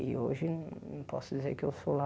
E hoje não posso dizer que eu sou lá